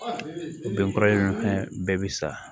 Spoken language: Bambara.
Bɛn kɔrɔ ye fɛn bɛɛ bɛ sa